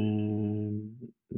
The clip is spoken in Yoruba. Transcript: um i